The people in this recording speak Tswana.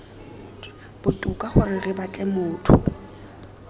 botoka gore re batle motho